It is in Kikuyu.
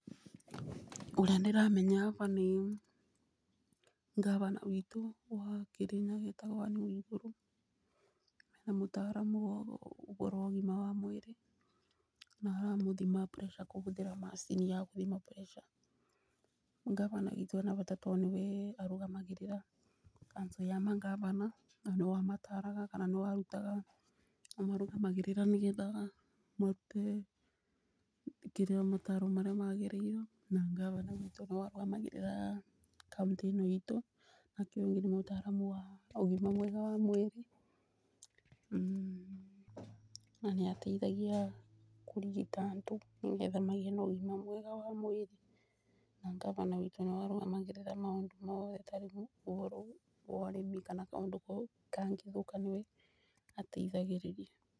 Ũrĩa ndĩramenya baba nĩ ngabanawitũ wa Kĩrĩnyaga etagwo Ann Waigũrũ mena mũtaramu wa ũgima wa mwĩrĩ na aramũthima pressure kũhũthĩra macini ya gũthima pressure. Ngabana witũ ena bata tondũ ni we arũgamagĩrĩra council ya mangabana na nĩwe ũmataraga. kana nĩ we arutaga nĩwe ũmarũgamagĩrĩra nĩ getha marute kĩrĩa mataro maria magĩrĩirwo na ngabana witũ nĩwe ũrũgamagĩrĩra county ĩno itũ. Nake ũyũ ũngĩ nĩ mũtaramu wa ũgima mwega wa mwĩrĩ na nĩ ateithagia kũrigita andũ nĩ getha magĩe na ũgima mwega wa mwĩrĩ. Na ngabana wtũ nĩwe arũgamagĩrĩra maũndũ mothe tarĩu ũboro ũyũ wa ũrĩmi kana kaũndũ kangĩthũka niwe ateithagĩrĩria.